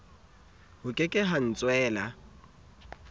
ho ke ke ha ntswela